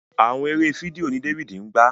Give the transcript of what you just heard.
Àwọn eré fídíò ní David ngba.